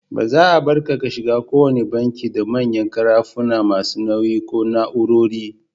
Ba za'a Barka ka shiga ko wanna banki da manyan karafuna masu nauyi ko na'urori.